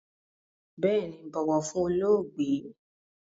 Bééni, bọ̀wọ̀ fún olóògbé!